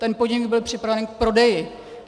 Ten podnik byl připraven k prodeji.